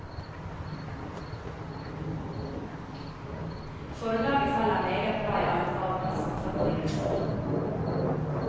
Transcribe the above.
Forlaget selger meget bra i alle fag man har satset på i grunnskolen.